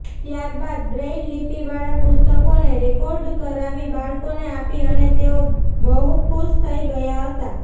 ત્યારબાદ બ્રેઇલલીપી વાળા પુસ્તકોને રેકોર્ડ કરાવી બાળકોને આપી અને તેઓ બહુ ખુશ થઇ ગયા હતાં